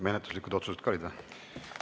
Menetluslikud otsused ka olid või?